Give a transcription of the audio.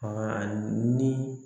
ni